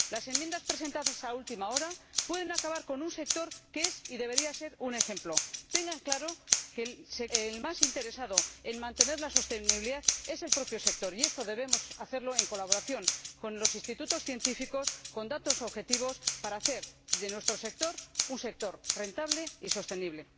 Las enmiendas presentadas a última hora pueden acabar con un sector que es y debería ser un ejemplo. Tengan claro que el más interesado en mantener la sostenibilidad es el propio sector, y esto debemos hacerlo en colaboración con los institutos científicos y con datos objetivos para hacer de nuestro sector un sector rentable y sostenible.